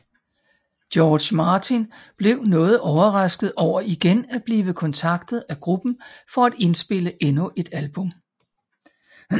George Martin blev noget overrasket over igen at blive kontaktet af gruppen for at indspille endnu et album